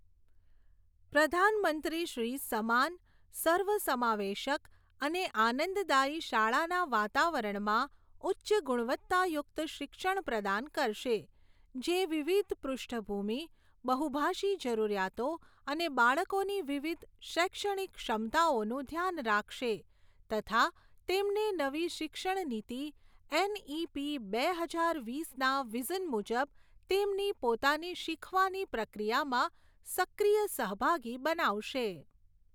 પ્રધાનમંત્રી શ્રી સમાન, સર્વસમાવેશક અને આનંદદાયી શાળાના વાતાવરણમાં ઉચ્ચ ગુણવત્તાયુક્ત શિક્ષણ પ્રદાન કરશે, જે વિવિધ પૃષ્ઠભૂમિ, બહુભાષી જરૂરિયાતો અને બાળકોની વિવિધ શૈક્ષણિક ક્ષમતાઓનું ધ્યાન રાખશે તથા તેમને નવી શિક્ષણ નીતિ એનઇપી બે હજાર વીસના વિઝન મુજબ તેમની પોતાની શીખવાની પ્રક્રિયામાં સક્રિય સહભાગી બનાવશે.